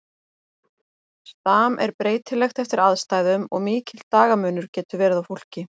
Stam er breytilegt eftir aðstæðum og mikill dagamunur getur verið á fólki.